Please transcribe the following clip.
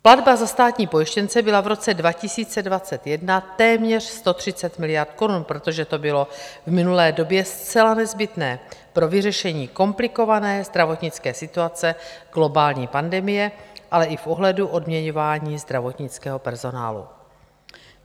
Platba za státní pojištěnce byla v roce 2021 téměř 130 miliard korun, protože to bylo v minulé době zcela nezbytné pro vyřešení komplikované zdravotnické situace, globální pandemie, ale i v ohledu odměňování zdravotnického personálu.